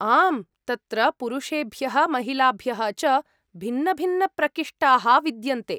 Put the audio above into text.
आम्, तत्र पुरुष्येभ्यः महिलाभ्यः च भिन्नभिन्नप्रकिष्ठाः विद्यन्ते।